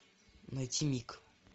найти мик